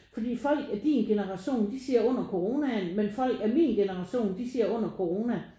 Fordi folk af din generation de siger under coronaen men folk af min generation siger under corona